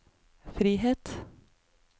frihet